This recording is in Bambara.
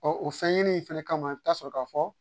Ɔɔ o fɛn ɲini in fɛnɛ kama i bi taa sɔrɔ ka fɔ